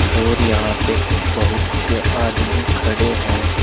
और यहां पे बहुत से आदमी खड़े है।